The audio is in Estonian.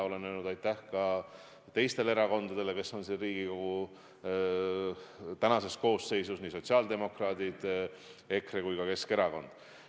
Olen öelnud aitäh ka teistele erakondadele, kes on Riigikogu tänases koosseisus, nii sotsiaaldemokraadid, EKRE kui ka Keskerakond.